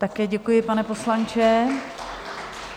Také děkuji, pane poslanče.